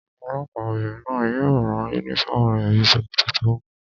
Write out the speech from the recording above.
Olọ́pàá obìnrin náà yóò rán yúnífọ́ọ̀mù rẹ̀ bíi sòkòtò tó gùn